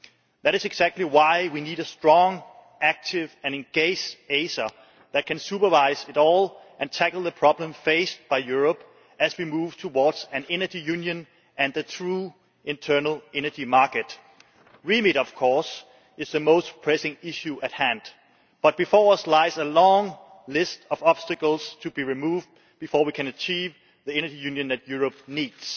That is exactly why we need a strong, active and engaged ACER that can supervise it all and tackle the problems faced by Europe as we move towards an Energy Union and a true internal energy market. The remit, of course, is the most pressing issue at hand, but before us lies a long list of obstacles to be removed before we can achieve the Energy Union that Europe needs